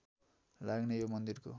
लाग्ने यो मन्दिरको